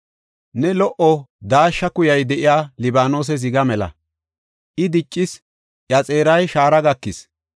Ne lo77o daashsha kuyay de7iya Libaanose ziga mela; I diccis; iya xeeray shaara gakis.